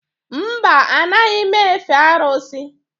Mba, anaghị m efe arụsị